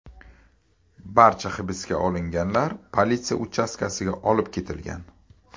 Barcha hibsga olinganlar politsiya uchastkasiga olib ketilgan.